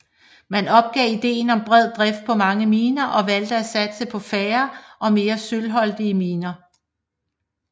Man opgav ideen om bred drift på mange miner og valgte at satse på færre og mere sølvholdige miner